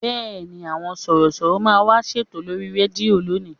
Bẹ́ẹ̀ni, àwọn Sọ̀rọ̀ṣọ̀rọ̀ máa wá ṣètò lórí rédíò lónìí